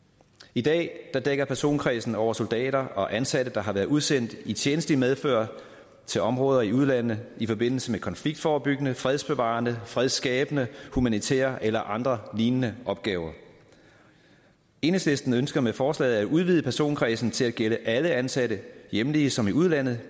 i dag dækker personkredsen over soldater og ansatte der har været udsendt i tjenstligt medfør til områder i udlandet i forbindelse med konfliktforebyggende fredsbevarende fredsskabende humanitære eller andre lignende opgaver enhedslisten ønsker med forslaget at udvide personkredsen til at gælde alle ansatte hjemlige som i udlandet